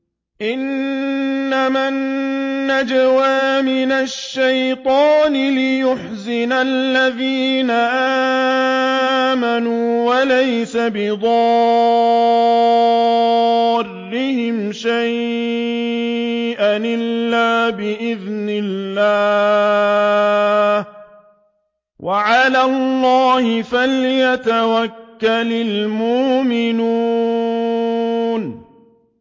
إِنَّمَا النَّجْوَىٰ مِنَ الشَّيْطَانِ لِيَحْزُنَ الَّذِينَ آمَنُوا وَلَيْسَ بِضَارِّهِمْ شَيْئًا إِلَّا بِإِذْنِ اللَّهِ ۚ وَعَلَى اللَّهِ فَلْيَتَوَكَّلِ الْمُؤْمِنُونَ